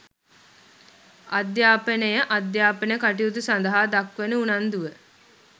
අධ්‍යාපනය අධ්‍යාපන කටයුතු සඳහා දක්වන උනන්දුව